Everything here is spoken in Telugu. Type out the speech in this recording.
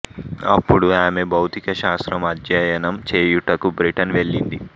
అపుడు ఆమె భౌతిక శాస్త్రం అధ్యయనం చేయుటకు బ్రిటన్ వెళ్ళింది